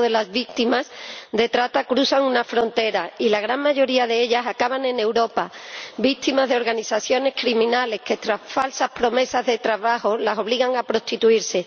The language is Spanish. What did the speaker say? de las víctimas de trata cruzan una frontera y la gran mayoría de ellas acaban en Europa, víctimas de organizaciones criminales que, tras falsas promesas de trabajo, las obligan a prostituirse.